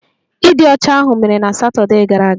Ịdị ọcha ahụ mere na Satọdee gara aga